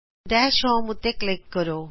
dash home ਉਤੇ click ਕਰੋ